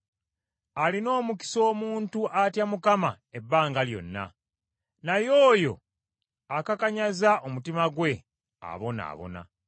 Alina omukisa omuntu atya Mukama ebbanga lyonna, naye oyo akakanyaza omutima gwe abonaabona.